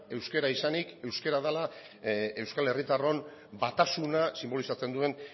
euskara izanik euskara dela euskal herritarron batasuna sinbolizatzen duen